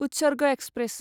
Utsarg express